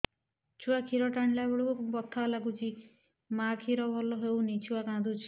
ଛୁଆ ଖିର ଟାଣିଲା ବେଳକୁ ବଥା ଲାଗୁଚି ମା ଖିର ଭଲ ହଉନି ଛୁଆ କାନ୍ଦୁଚି